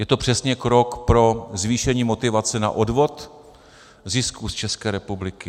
Je to přesně krok pro zvýšení motivace na odvod zisků z České republiky.